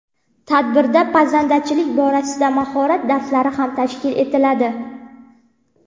Tadbirda pazandachilik borasidagi mahorat darslari ham tashkil etiladi.